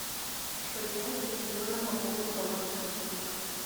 что делать если нужно пополнить баланс родственника